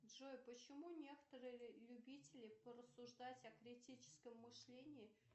джой почему некоторые любители порассуждать о критическом мышлении